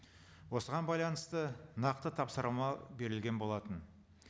осыған байланысты нақты тапсырма берілген болатын